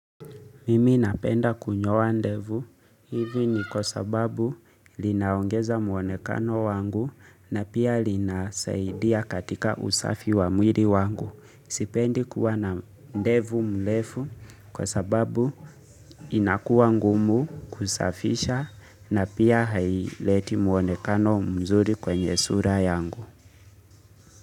Mimi napenda kunyoa ndevu, hivi ni kwa sababu linaongeza muonekano wangu na pia linasaidia katika usafi wa mwili wangu. Sipendi kuwa na ndevu mlefu kwa sababu inakuwa ngumu kusafisha na pia haileti muonekano mzuri kwenye sura yangu.